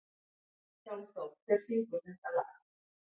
Hjálmþór, hver syngur þetta lag?